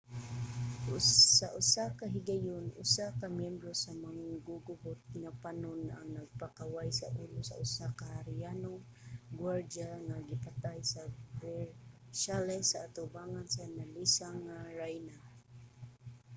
sa usa ka higayon usa ka myembro sa manggugubot nga panon ang nagpakaway sa ulo sa usa ka harianong guwardya nga gipatay sa versailles sa atubangan sa nalisang nga rayna